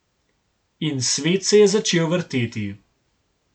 In svet se je začel vrteti.